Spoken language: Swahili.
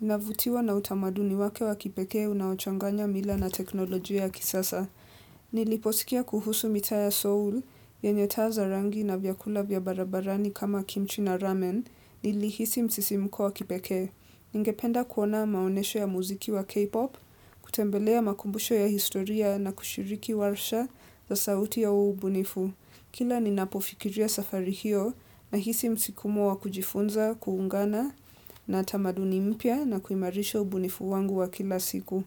navutiwa na utamaduni wake wa kipekee unaochanganya mila na teknolojia ya kisasa. Niliposikia kuhusu mitaa ya seoul, yenye taa za rangi na vyakula vya barabarani kama kimchi na ramen, nilihisi msisimko wa kipekee. Ningependa kuona maonesho ya muziki wa K-pop, kutembelea makumbusho ya historia na kushiriki warsha za sauti ya huo ubunifu. Kila ninapofikiria safari hiyo nahisi msikumo wa kujifunza, kuungana na tamaduni mpya na kuimarisha ubunifu wangu wa kila siku.